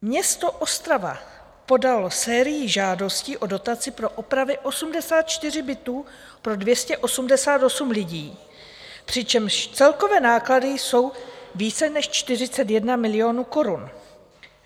Město Ostrava podalo sérii žádostí o dotaci pro opravy 84 bytů pro 288 lidí, přičemž celkové náklady jsou více než 41 milionů korun.